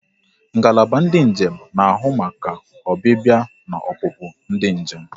Ngalaba ndị njem na ahụ maka ọbịbịa na opupu ndị njem